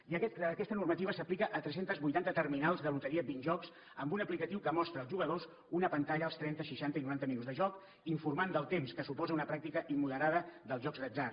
i aquesta normativa s’aplica a tres centes vuitanta terminals de loteria binjoc amb un aplicatiu que mostra als jugadors una pantalla als trenta seixanta i noranta minuts de joc informant del temps que suposa una pràctica immoderada dels jocs d’atzar